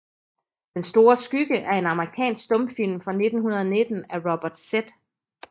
Den store Skygge er en amerikansk stumfilm fra 1919 af Robert Z